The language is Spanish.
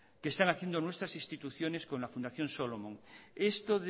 que están haciendo nuestras instituciones con la fundación solomon esto